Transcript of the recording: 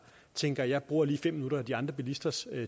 tænker jeg bruger lige fem minutter af de andre bilisters